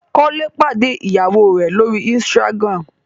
Kole pàdé ìyàwó rẹ l'ori Instagram.